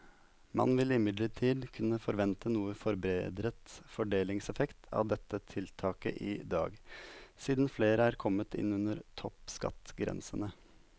Man vil imidlertid kunne forvente noe forbedret fordelingseffekt av dette tiltaket i dag, siden flere er kommet inn under toppskattgrensene.